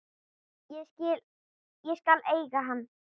Ég skal eiga hann.